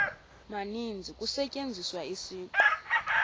maninzi kusetyenziswa isiqu